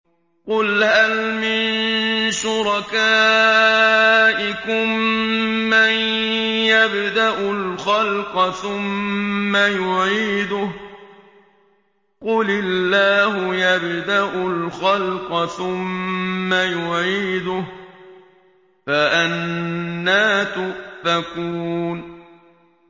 قُلْ هَلْ مِن شُرَكَائِكُم مَّن يَبْدَأُ الْخَلْقَ ثُمَّ يُعِيدُهُ ۚ قُلِ اللَّهُ يَبْدَأُ الْخَلْقَ ثُمَّ يُعِيدُهُ ۖ فَأَنَّىٰ تُؤْفَكُونَ